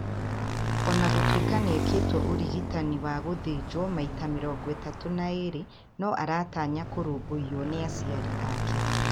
O na gũtuĩka nĩ ekĩtwo ũrigitani wa gũthenjwo maita 32, no aratanya kũrũmbũiywo nĩ aciari ake.